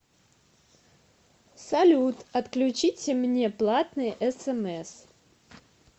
салют отключите мне платные смс